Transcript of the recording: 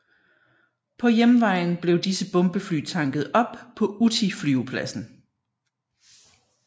På hjemvejen blev disse bombefly tanket op på Utti flyvepladsen